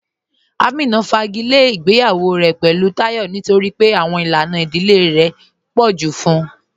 Amínà fàgílẹ̀ ìgbèyawọ̀ rẹ̀ pẹ̀lú Táyọ̀ nítorí pé àwọn ilànà ìdílẹ̀ rẹ̀ tó pọ̀ ju fún ụ